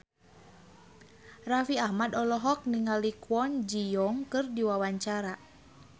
Raffi Ahmad olohok ningali Kwon Ji Yong keur diwawancara